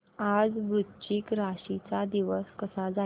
आज वृश्चिक राशी चा दिवस कसा जाईल